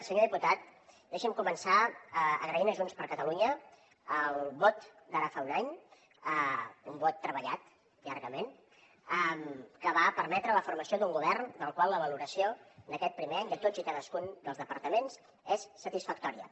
senyor diputat deixi’m començar agraint a junts per catalunya el vot d’ara fa un any un vot treballat llargament que va permetre la formació d’un govern del qual la valoració d’aquest primer any de tots i cadascun dels departaments és satisfactòria